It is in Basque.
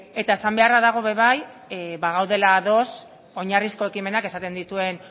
eta esan beharra dago be bai bagaudela ados oinarrizko ekimenak esaten dituen